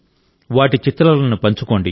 వాటి చిత్రాలను పంచుకోండి